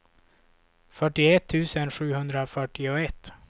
fyrtioett tusen sjuhundrafyrtioett